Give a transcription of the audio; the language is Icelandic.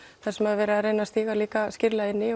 þar sem er verið að reyna að stíga líka skýrlega inn í